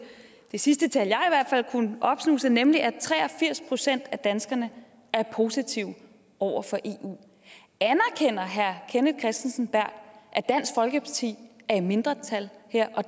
det sidste tal jeg har kunnet opsnuse nemlig at tre og firs procent af danskerne er positive over for eu anerkender herre kenneth kristensen berth at dansk folkeparti er i mindretal her og